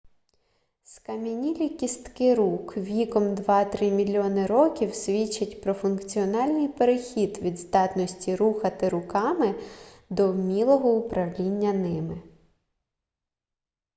скам'янілі кістки рук віком два-три мільйони років свідчать про функціональний перехід від здатності рухати руками до вмілого управління ними